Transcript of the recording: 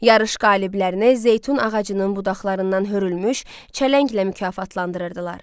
Yarış qaliblərinə zeytun ağacının budaqlarından hörülmüş çələnglə mükafatlandırırdılar.